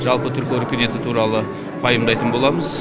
жалпы түркі өркениеті туралы пайымдайтын боламыз